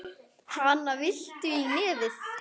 Hana, viltu í nefið?